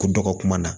Ko dɔgɔ kuma na